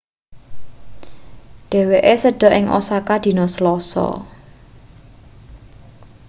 dheweke seda ing osaka dina selasa